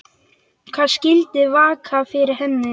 Hvað skyldi vaka fyrir henni?